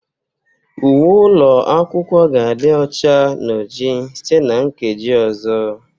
Uwe ụlọ akwụkwọ ga-adị ọcha na oji site na nkeji ọzọ